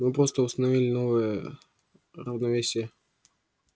мы просто установили новое равновесие